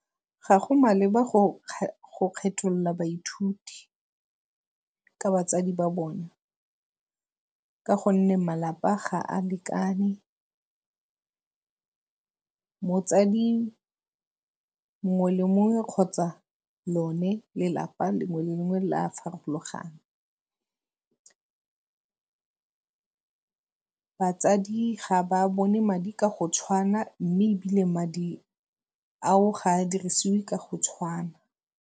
Ga go maleba go kgetholola baithuti ka batsadi ba bona ka gonne malapa ga a lekane. Motsadi mongwe le mongwe kgotsa lone lelapa lengwe le lengwe le a farologana. batsadi ga ba bone madi ka go tshwana mme ebile madi ao ga a dirisiwe ka go tshwana.